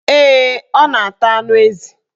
Ee, ọ na-ata anụ ezi